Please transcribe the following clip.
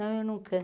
Não, eu não canto.